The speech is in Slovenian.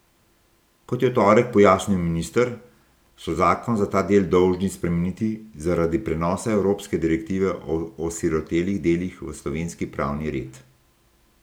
Kot je v torek pojasnil minister, so zakon za ta del dolžni spremeniti zaradi prenosa evropske direktive o osirotelih delih v slovenski pravni red.